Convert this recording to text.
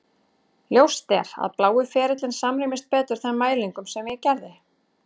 Ljóst er að blái ferillinn samrýmist betur þeim mælingum sem ég gerði.